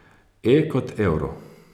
E kot Euro.